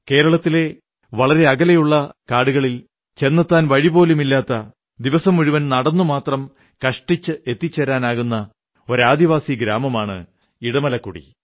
കേരളത്തിലെ വളരെ അകലെയുള്ള കാടുകളിൽ ചെന്നെത്താൻ വഴിപോലും ഇല്ലാത്ത ദിവസം മുഴുവൻ നടന്നുമാത്രം കഷ്ടിച്ച് എത്തിച്ചേരാനാകുന്ന ഒരു ആദിവാസ ഗ്രാമമാണ് ഇടമലക്കുടി